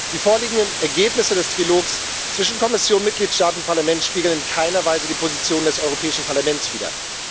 Die vorliegenden Ergebnisse des Trilogs zwischen Kommission, Mitgliedstaaten und Parlament spiegeln in keiner Weise die Position des Europäischen Parlaments wider.